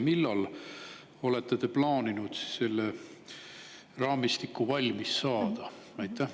Millal olete te plaaninud selle raamistiku valmis saada?